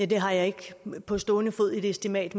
det har jeg ikke på stående fod et estimat